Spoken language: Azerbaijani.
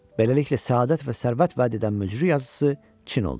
Beləliklə, səadət və sərvət vəd edən müjdə yazısı Çin oldu.